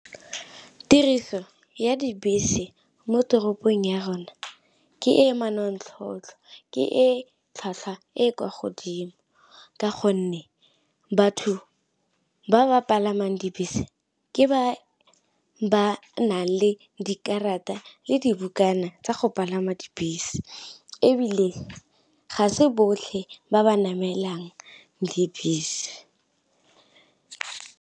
Tiriso ya dibese mo toropong ya rona ke e manontlhotlho ke e tlhwatlhwa e kwa godimo, ka gonne batho ba ba palamang dibese ke ba ba nang le dikarata le dibukana tsa go palama dibese, ebile ga se botlhe ba ba namelang dibese.